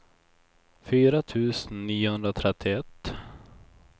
fyra tusen niohundratrettioett